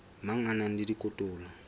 mang a na le dikotola